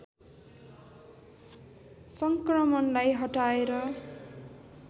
सङ्क्रमणलाई हटाएर